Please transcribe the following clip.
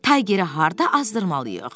Taygeri harda azdırmalıyıq?